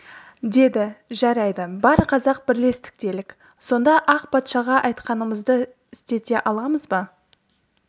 деді жарайды бар қазақ бірлестік делік сонда ақ патшаға айтқанымызды істете аламыз ба